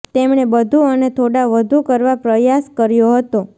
તેમણે બધું અને થોડા વધુ કરવા પ્રયાસ કર્યો હતો